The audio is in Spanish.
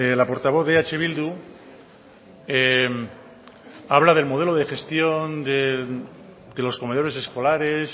la portavoz de eh bildu habla del modelo de gestión de los comedores escolares